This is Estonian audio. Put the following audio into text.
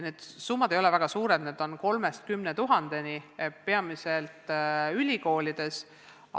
Need summad ei ole väga suured, need on 3000-st 10 000-ni, peamiselt ülikoolides.